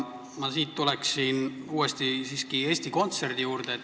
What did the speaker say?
Ma tuleksin uuesti Eesti Kontserdi juurde.